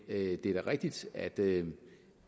det er da rigtigt at det